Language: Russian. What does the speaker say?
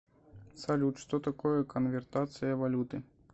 салют что такое конвертация валюты